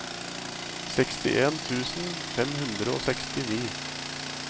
sekstien tusen fem hundre og sekstini